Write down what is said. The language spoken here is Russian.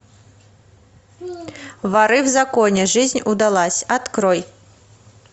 воры в законе жизнь удалась открой